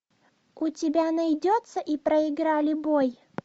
у тебя найдется и проиграли бой